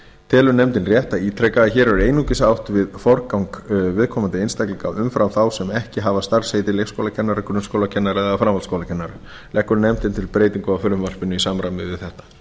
telur nefndin rétt að ítreka að hér er einungis átt við forgang viðkomandi einstaklinga umfram þá sem ekki hafa starfsheitið leikskólakennari grunnskólakennari eða framhaldsskólakennari leggur nefndin til breytingu á frumvarpinu í samræmi við þetta